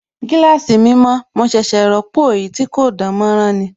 Gíláàsì mi mọ̀, mo ṣẹ̀ṣẹ̀ ròpọ̀ èyí tí kò dánmọ́nrán ni